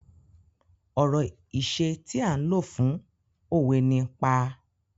Ọ̀rọ̀ ìṣẹ tí à ń lo fún òwe ni "pa".